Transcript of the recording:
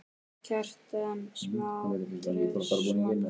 Kjartan: Smá stress, svona?